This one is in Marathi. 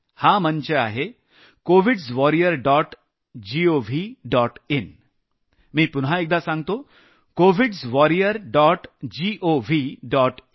हा मंच आहे covids warriors dot gov dot in मी पुन्हा एकदा सांगतो कीकोविड्स warriors dot gov dot in